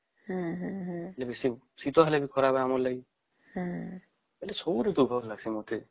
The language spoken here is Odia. ବେଶୀ ଶୀତ ହେଲେ ବି ଖରାପ ଆମ ପାଇଁ ଅମାନେ ସବୁ ଋତୁ ଖରାପ ଲାଗିଁସେ ମତେ